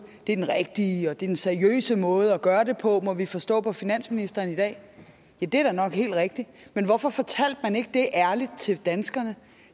det er den rigtige og det er den seriøse måde at gøre det på må vi forstå på finansministeren i dag ja det er da nok helt rigtigt men hvorfor fortalte man ikke det ærligt til danskerne